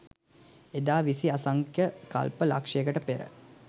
එදා විසි අසංඛ්‍ය කල්ප ලක්‍ෂයකට පෙර